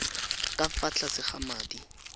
ka fa tlase ga madi